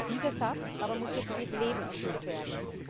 Dieser Satz aber muss jetzt mit Leben gefüllt werden.